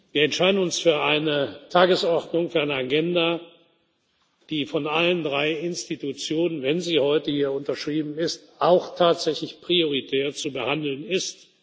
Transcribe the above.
Wir entscheiden uns für eine Agenda, die von allen drei Institutionen, wenn sie heute hier unterschrieben ist, auch tatsächlich prioritär zu behandeln